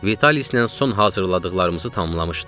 Vitalislə son hazırladıqlarımızı tamamlamışdıq.